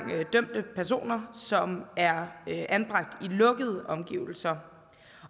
dømte personer som er anbragt i lukkede omgivelser